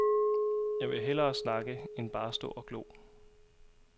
Jeg vil hellere snakke end bare stå og glo.